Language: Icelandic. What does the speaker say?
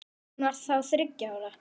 Hún var þá þriggja ára.